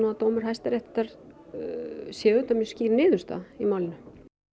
að dómur Hæstaréttar sé auðvitað mjög skýr niðurstaða í málinu